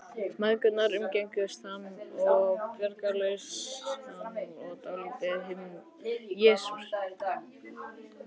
Mæðgurnar umgengust hann einsog bjargarlausan og dálítið hvimleiðan kenjakrakka.